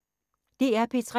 DR P3